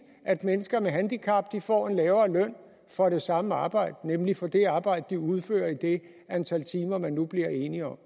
at mennesker med handicap får en lavere løn for det samme arbejde nemlig for det arbejde de udfører i det antal timer man nu bliver enige om